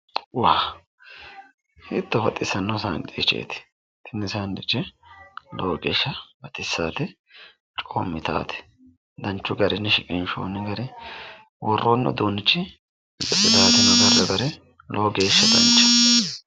Wah hiitto baxissanno sandwicheeti lowo geeshsha baxissate coommitaate danchu garinni shiqinshoonni gari worroonni uduunnichi xiraateno agarroonni gari lowo geeshsha danchaho.